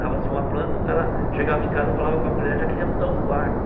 Dava-se uma planta, o cara chegava em casa, falava com a mulher, já queria mudar os quartos.